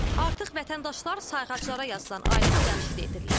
Artıq vətəndaşlar sayğaclara yazılan aylıq ödənişi də edirlər.